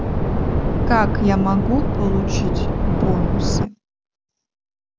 как я могу получить бонусы